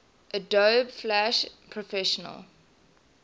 adobe flash professional